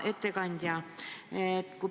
Hea ettekandja!